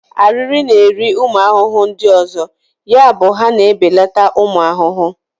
ariri na-eri ụmụ ahụhụ ndị ọzọ, yabụ ha na ebeleta ụmụ ahụhụ.